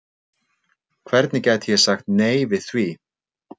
Hvernig gæti ég sagt nei við því?